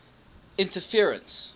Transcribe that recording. interference